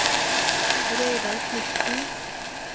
Reidar Knudsen